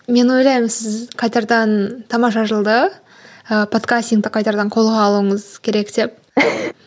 мен ойлаймын сіз қайтадан тамаша жылды ы подкастингті қайтадан қолға алуыңыз керек